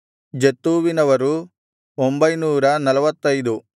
ಜತ್ತೂವಿನವರು 945